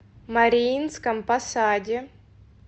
мариинском посаде